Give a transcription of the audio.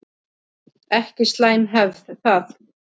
Ekki slæm hefð það.